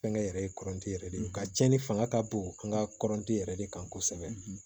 Fɛnkɛ yɛrɛ ye kɔrɔnti yɛrɛ de ye nka cɛnni fanga ka bon an ka kɔrɔnti yɛrɛ de kan kosɛbɛ